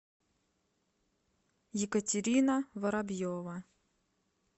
екатерина воробьева